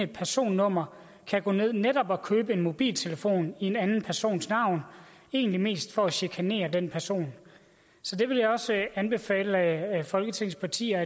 personnummer gå ned og købe en mobiltelefon i en anden persons navn egentlig mest for at chikanere denne person så det vil jeg også anbefale at folketingets partier